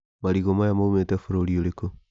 Marigũ maya maumĩte bũrũri ũrĩkũ.